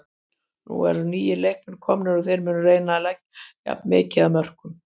Nú eru nýir leikmenn komnir og þeir munu reyna að leggja jafn mikið af mörkum.